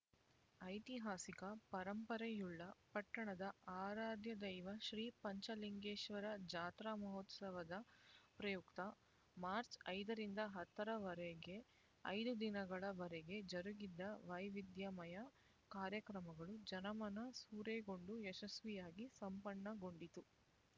ಐತಿಹಾಸಿಕ ಪರಂಪರೆಯುಳ್ಳ ಪಟ್ಟಣದ ಆರಾಧ್ಯದೈವ ಶ್ರೀ ಪಂಚಲಿಂಗೇಶ್ವರ ಜಾತ್ರಾ ಮಹೋತ್ಸವದ ಪ್ರಯುಕ್ತ ಮಾರ್ಚ್ ಐದರಿಂದ ಹತ್ತರ ವರೆಗೆ ಐದು ದಿನಗಳ ವರೆಗೆ ಜರುಗಿದ ವೈವಿಧ್ಯಮಯ ಕಾರ್ಯಕ್ರಮಗಳು ಜನಮನ ಸೂರೆಗೊಂಡು ಯಶಸ್ವಿಯಾಗಿ ಸಂಪನ್ನಗೊಂಡಿತು